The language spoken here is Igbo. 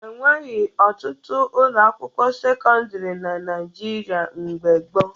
E nwebughi ọtụtụ ụlọakwụkwọ sekọndịrị na Naịjirịa mgbe gboo